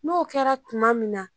N'o kɛra tuma min na.